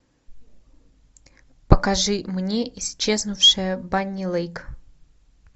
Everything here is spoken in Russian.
покажи мне исчезнувшая банни лейк